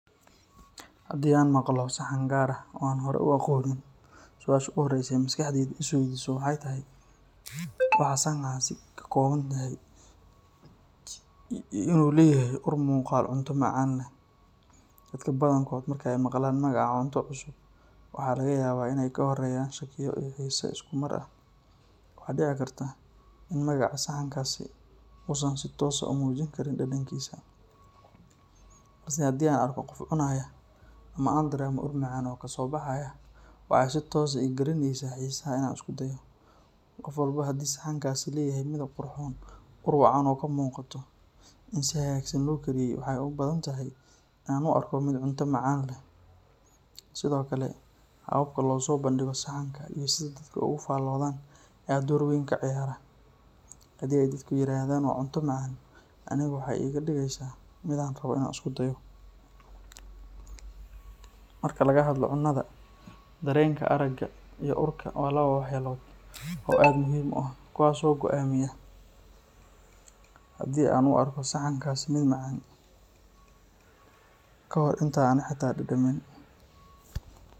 Haddii aan maqlo saxan gaar ah oo aanan hore u aqoonin, su’aasha ugu horreysa ee maskaxdaydu is weydiiso waxay tahay waxa saxankaasi ka kooban yahay iyo in uu leeyahay ur iyo muuqaal cunto macaan leh. Dadka badankood marka ay maqlaan magaca cunto cusub, waxa laga yaabaa in ay ka horreeyaan shakiyo iyo xiise isku mar ah. Waxaa dhici karta in magaca saxankaasi uusan si toos ah u muujin karin dhadhankiisa, balse haddii aan arko qof cunaya ama aan dareemo ur macaan oo kasoo baxaya, waxa ay si toos ah ii gelinaysaa xiisaha in aan isku dayo. Qof walba wuxuu leeyahay dhadhan gaar ah iyo xusuuso la xiriira cuntada, markaa haddii saxankaasi leeyahay midab qurxoon, ur wacan oo ka muuqato in si hagaagsan loo kariyey, waxa ay u badan tahay in aan u arko mid cunto macaan leh. Sidoo kale, habka loo soo bandhigo saxanka iyo sida dadku uga faalloodaan ayaa door weyn ka ciyaara. Haddii ay dadku yiraahdaan waa cunto macaan, anigana waxa ay iga dhigeysaa mid aan rabo in aan isku dayo. Marka laga hadlayo cunnada, dareenka aragga iyo urka waa laba waxyaalood oo aad muhiim u ah, kuwaas oo go’aamiya haddii aan u arko saxankaasi mid macaan ka hor inta aanan xitaa dhadhamin.